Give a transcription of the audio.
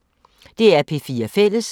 DR P4 Fælles